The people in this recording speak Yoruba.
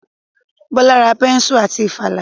Bọ́lá ra bẹ́nsù àti ìfàlà